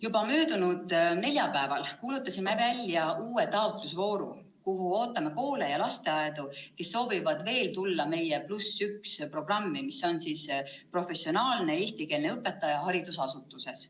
Juba möödunud neljapäeval kuulutasime välja uue taotlusvooru, kuhu ootame koole ja lasteaedu, kes veel soovivad osaleda meie programmis "+1 õpetaja", mille korral professionaalsed eestikeelsed õpetajad.